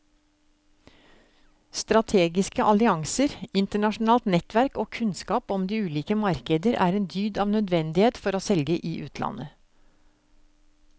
Strategiske allianser, internasjonalt nettverk og kunnskap om de ulike markeder er en dyd av nødvendighet for å selge i utlandet.